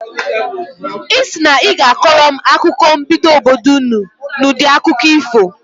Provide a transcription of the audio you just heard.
Ị sị na ị ga-akọrọ m akụkọ mbido obodo ụnụ n'udi akụkọ ifo.